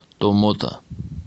томмота